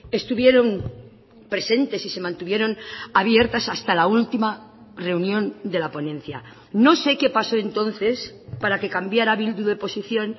estuvieron presentes y se mantuvieron abiertas hasta la última reunión de la ponencia no sé qué pasó entonces para que cambiara bildu de posición